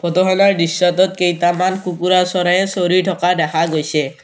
Photo খনৰ দৃশ্যটোত কেইটামান কুকুৰা চৰাইয়ে চৰি থকা দেখা গৈছে।